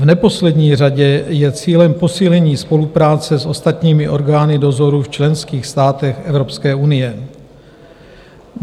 V neposlední řadě je cílem posílení spolupráce s ostatními orgány dozoru v členských státech Evropské unie.